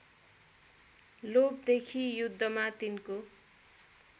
लोभदेखि युद्धमा तिनको